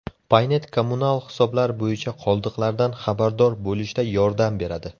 Paynet kommunal hisoblar bo‘yicha qoldiqlardan xabardor bo‘lishda yordam beradi.